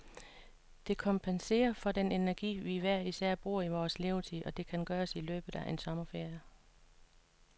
Det kompenserer for den energi, vi hver især bruger i vores levetid, og det kan gøres i løbet af en sommerferie.